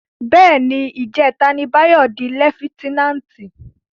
Bè ni, ijètá ni Bayo di lèfitènánti